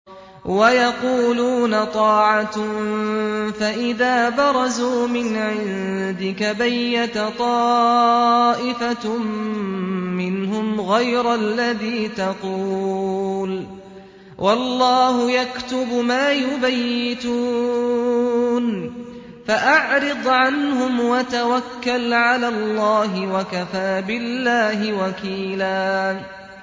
وَيَقُولُونَ طَاعَةٌ فَإِذَا بَرَزُوا مِنْ عِندِكَ بَيَّتَ طَائِفَةٌ مِّنْهُمْ غَيْرَ الَّذِي تَقُولُ ۖ وَاللَّهُ يَكْتُبُ مَا يُبَيِّتُونَ ۖ فَأَعْرِضْ عَنْهُمْ وَتَوَكَّلْ عَلَى اللَّهِ ۚ وَكَفَىٰ بِاللَّهِ وَكِيلًا